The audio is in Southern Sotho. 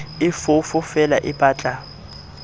e foofo feela e batla